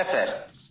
হ্যাঁ স্যার